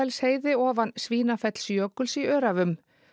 Svínafellsheiði ofan Svínafellsjökuls í Öræfum